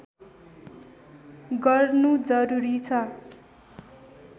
गर्नु जरुरी छ